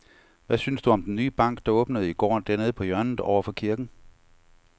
Hvad synes du om den nye bank, der åbnede i går dernede på hjørnet over for kirken?